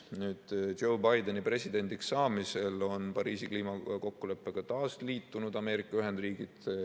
Nüüd, Joe Bideni presidendiks saamise järel on Ameerika Ühendriigid Pariisi kliimakokkuleppega taas liitunud.